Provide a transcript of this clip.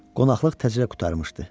Qonaqlıq təzəcə qurtarmışdı.